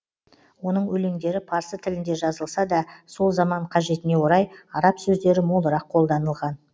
оның өлеңдері парсы тілінде жазылса да сол заман қажетіне орай араб сөздері молырақ қолданылған